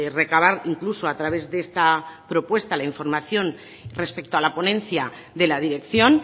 recabar incluso a través de esta propuesta la información respecto a la ponencia de la dirección